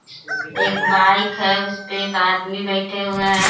एक बाइक है उस पे एक आदमी बैठे हुए हैं।